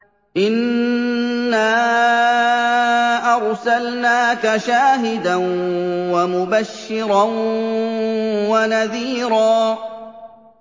إِنَّا أَرْسَلْنَاكَ شَاهِدًا وَمُبَشِّرًا وَنَذِيرًا